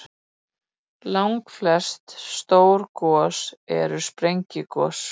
Langflest stór gos eru sprengigos.